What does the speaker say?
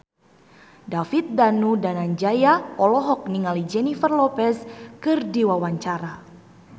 David Danu Danangjaya olohok ningali Jennifer Lopez keur diwawancara